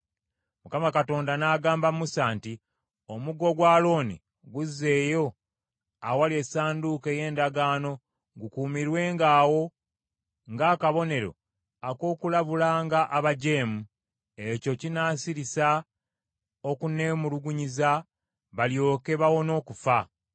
Mukama Katonda n’agamba Musa nti, “Omuggo gwa Alooni guzzeeyo awali Essanduuko ey’Endagaano gukuumirwenga awo ng’akabonero ak’okulabulanga abajeemu. Ekyo kinaasirisa okunneemulugunyiza, balyoke bawone okufa.”